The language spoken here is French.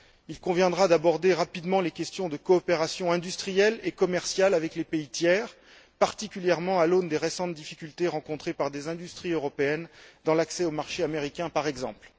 Il conviendra d'aborder rapidement les questions de coopération industrielle et commerciale avec les pays tiers, particulièrement à l'aune des récentes difficultés rencontrées par des industries européennes dans l'accès au marché américain par exemple.